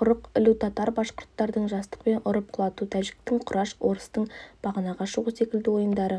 құрық ілу татар-башқұрттардың жастықпен ұрып құлату тәжіктің кураш орыстың бағанаға шығу секілді ойындары